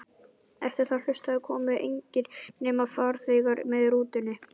Eftir að haustaði komu engir, nema farþegar með rútunni.